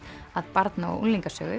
að barna og